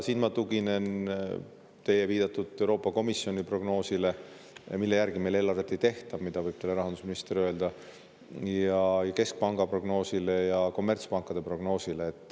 Siin ma tuginen teie viidatud Euroopa Komisjoni prognoosile, mille järgi meil eelarvet ei tehta, nagu rahandusminister võib teile öelda, ning keskpanga prognoosile ja kommertspankade prognoosile.